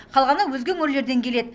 қалғаны өзге өңірлерден келеді